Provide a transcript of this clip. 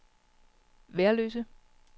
Værløse